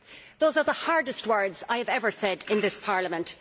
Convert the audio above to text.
Those are the hardest words I have ever said in this Parliament.